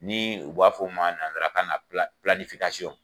Ni u b'a fɔ o ma nansarakan na